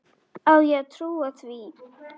Á ég að trúa því?